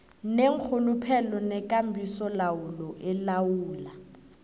neenrhuluphelo nekambisolawulo elawula